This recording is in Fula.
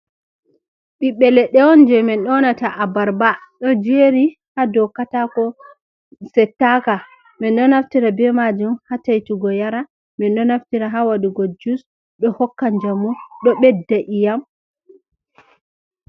Ɓiɓɓe leɗɗe on je min ɗonata abarba ɗo jeri ha dow katako settaka. Min ɗo naftira be majum ha taitugo yara, min ɗo naftira ha waɗugo jus ɗo hokka njamu, ɗo ɓedda iyam.